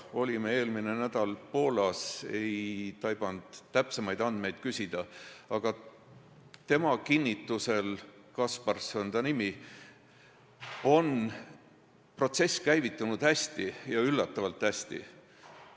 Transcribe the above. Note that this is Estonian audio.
Olime eelmine nädal Poolas, aga ma ei taibanud täpsemaid andmeid küsida, aga tema kinnitusel – Kaspars on ta nimi – on protsess käivitunud hästi, lausa üllatavalt hästi.